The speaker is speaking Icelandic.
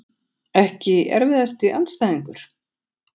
Ekki erfiðasti andstæðingur??